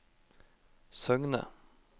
Søgne